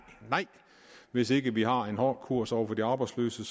nej hvis ikke vi har en hård kurs over for de arbejdsløse